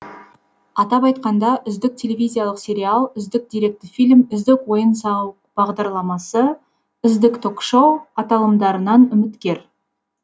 атап айтқанда үздік телевизиялық сериал үздік деректі фильм үздік ойын сауық бағдарламасы үздік ток шоу аталымдарынан үміткер